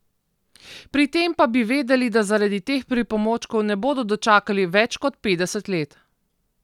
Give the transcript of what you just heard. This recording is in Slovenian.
Pri tem pa bi vedeli, da zaradi teh pripomočkov ne bodo dočakali več kot petdeset let.